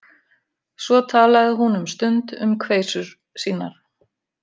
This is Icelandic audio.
Svo talaði hún um stund um kveisur sínar.